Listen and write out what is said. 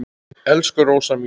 Elsku Rósa mín.